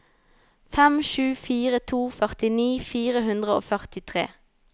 fem sju fire to førtini fire hundre og førtifire